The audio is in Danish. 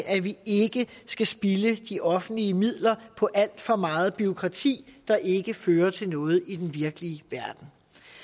at vi ikke skal spilde de offentlige midler på alt for meget bureaukrati der ikke fører til noget i den virkelige verden